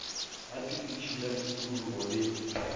la tshepedišo ya tikologo le